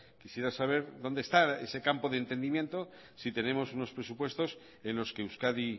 quisiera saber dónde esta ese campo de entendimiento si tenemos unos presupuestos en los que euskadi